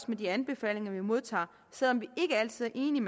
med de anbefalinger vi modtager selv om vi ikke altid er enige